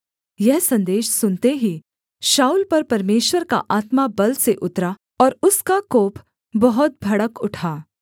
यह सन्देश सुनते ही शाऊल पर परमेश्वर का आत्मा बल से उतरा और उसका कोप बहुत भड़क उठा